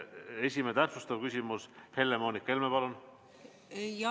Esimene täpsustav küsimus, Helle-Moonika Helme, palun!